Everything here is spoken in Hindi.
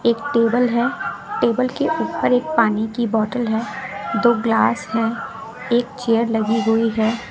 एक टेबल है टेबल के ऊपर एक पानी की बॉटल है दो ग्लास हैं एक चेयर लगी हुई है।